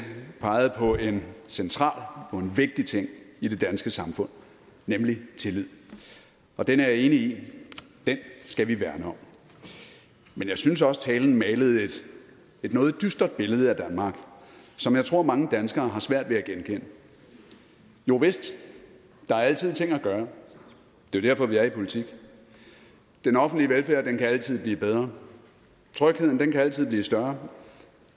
pegede på en central og vigtig ting i det danske samfund nemlig tillid og det er jeg enig i den skal vi værne om men jeg synes også talen malede et noget dystert billede af danmark som jeg tror mange danskere har svært ved at genkende jovist der er altid ting at gøre det er derfor vi er i politik den offentlige velfærd kan altid blive bedre trygheden kan altid blive større